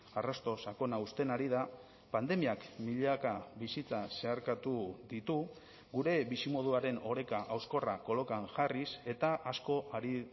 arrasto sakona uzten ari da pandemiak milaka bizitza zeharkatu ditu gure bizimoduaren oreka hauskorra kolokan jarriz eta asko ari